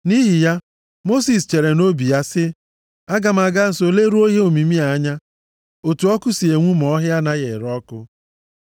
Nʼihi ya, Mosis chere nʼobi ya sị, “Aga m aga nso leruo ihe omimi a anya, otu ọkụ si enwu ma ọhịa anaghị ere ọkụ.”